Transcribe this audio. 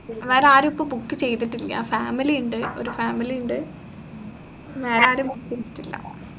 വേറാരും ഇപ്പൊ book ചെയ്തിട്ടില്ല family ഇണ്ട് ഒരു family ഇണ്ട് വേറാരും book ചെയ്തിട്ടില്ല